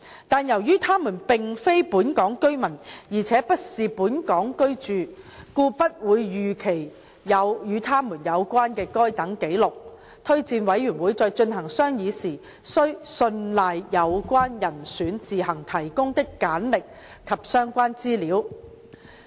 但是，由於他們並非本港居民，而且不是在本港居住，故不會預期有與他們有關的該等紀錄，司法人員推薦委員會在進行商議時須信賴有關人選自行提供的簡歷和相關資料。